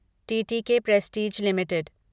TTK Prestige limited